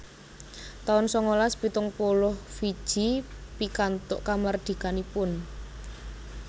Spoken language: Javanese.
taun sangalas pitung puluh Fiji pikantuk kamardikanipun